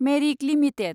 मेरिक limited